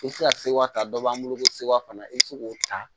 I bɛ se ka sewa ta dɔ b'an bolo ko sewa fana i bɛ se k'o ta